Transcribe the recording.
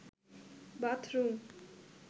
bathroom